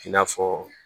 I n'a fɔ